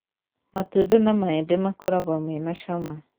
matũnda ma mahembe makoragwo mena ciama